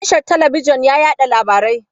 Tashar talabijin na yaɗa labarai.